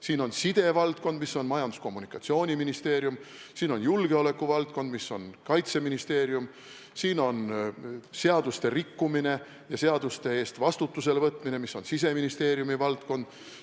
Siin on sidevaldkond, mis on Majandus- ja Kommunikatsiooniministeeriumi kompetentsis, siin on julgeolekuvaldkond, mis on Kaitseministeeriumi hallata, siin on seaduste rikkumine ja selle eest vastutusele võtmine, mis on Siseministeeriumi valdkond.